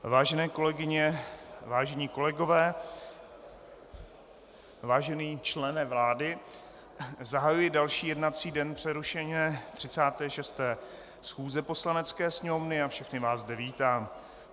Vážené kolegyně, vážení kolegové, vážený člene vlády, zahajuji další jednací den přerušené 36. schůze Poslanecké sněmovny a všechny vás zde vítám.